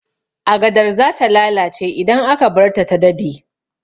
Agadar zata lalace idan aka barta ta dade